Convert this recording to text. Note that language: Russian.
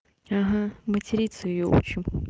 ага материться и отчим